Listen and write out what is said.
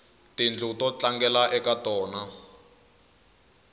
tindlu to tlangela ka tona